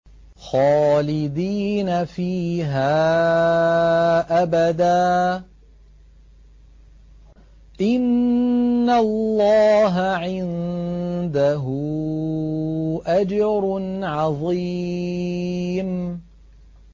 خَالِدِينَ فِيهَا أَبَدًا ۚ إِنَّ اللَّهَ عِندَهُ أَجْرٌ عَظِيمٌ